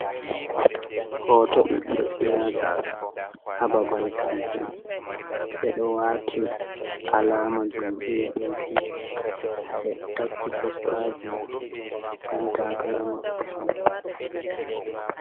Hoto ɓiɓɓe siyasa hababal kampen, ɓeɗo wati alama jam iya a pi si ɓeɗo takki postaji yan takara maɓɓe hadow.